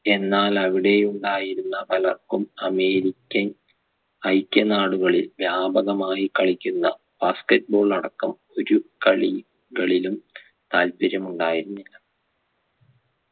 എന്നാൽ അവിടെ ഉണ്ടായിരുന്ന പലർക്കും american ഐക്യ നാടുകളിൽ വ്യാപകമായി കളിക്കുന്ന basket ball അടക്കം ഒരു കളി കളിലും താല്പര്യമുണ്ടായിരുന്നില്ല